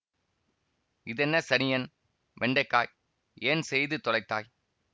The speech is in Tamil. இதென்ன சனியன் வெண்டைக்காய் ஏன் செய்து தொலைத்தாய்